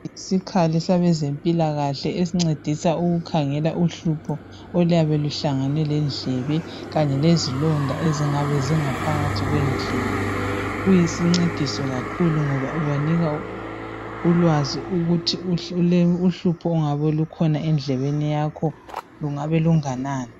Isikhali sabezempilakhale esincedisa ukukhangelw uhlupho oluyabe luhlangene lendlebe kanye lezilonda eziyabe zingaphakathi kwendlebe. Kuyisincediso kakhulu ngoba kubanikanulwazi ukuthi uhlupho olungabe lusendlebeni yajho lungabe lunganani.